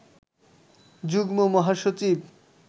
যুগ্ম মহাসচিব